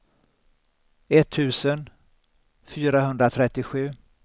etttusen fyrahundratrettiosju